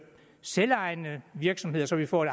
selvejende virksomheder så vi får et